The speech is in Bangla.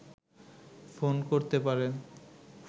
ফোন করতে পারেন